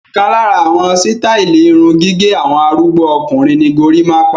Ọ̀kan lára àwọn sítáátì irun gẹ́gẹ́ àwọn arúgbó ọkùnrin ni gorímápá.